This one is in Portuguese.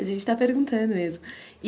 A gente está perguntando mesmo.